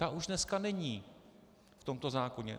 Ta už dneska není v tomto zákoně.